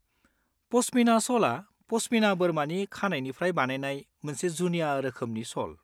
पश्मिना श'लआ पश्मिना बोरमानि खानाइनिफ्राय बानायनाय मोनसे जुनिया रोखोमनि श'ल।